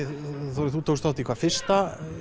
þú tókst þátt í hvað fyrsta